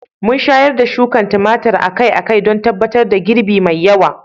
Mun shayar da shuka tumatir akai-akai don tabbatar da girbi mai yawa.